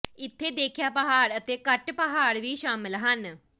ਇੱਥੇ ਦੇਖਿਆ ਪਹਾੜ ਅਤੇ ਘੱਟ ਪਹਾੜ ਵੀ ਸ਼ਾਮਲ ਹਨ